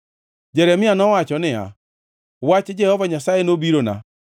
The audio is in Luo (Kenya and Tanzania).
Jeremia nowacho niya, “Wach Jehova Nyasaye nobirona: